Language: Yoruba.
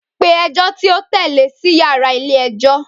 Pe ẹjọ ti o tẹle si yara ile-ẹjọ!